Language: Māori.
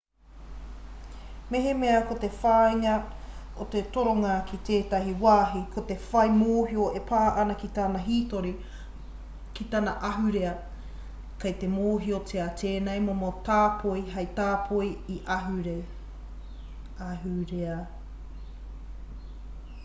mehemea ko te whāinga o te toronga ki tētahi wāhi ko te whai mōhio e pā ana ki tana hītori ki tana ahurea kei te mōhiotia tēnei momo tāpoi hei tāpoi ahurea